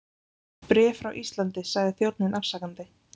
Bréf frá Íslandi, sagði þjónninn afsakandi.